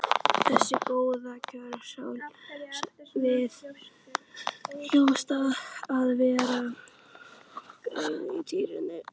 Þessi góða kjörsókn, það hljóta að vera gleðitíðindi?